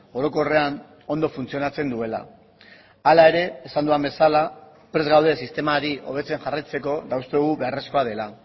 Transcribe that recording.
orokorrean ondo funtzionatzen duela hala ere esan dudan bezala prest gaude sistemari hobetzen jarraitzeko eta uste dugu beharrezkoa dela